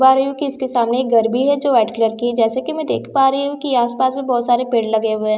पा रही हूँ कि इसके सामने एक घर भी है जो वाइट कलर की है जैसे कि मैं देख पा रही हूँ कि आस-पास में बहोत सारे पेड़ लगे हुए है।